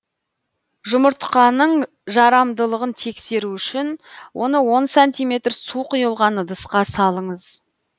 жұмыртқаның жарамдылығын тексеру үшін оны он сантиметр су құйылған ыдысқа салыңыз